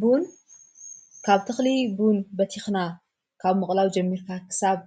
ቡን ካብ ትኽሊ ቡን በቲኽና ካብ መቕላዊ ጀሚርካክሳብ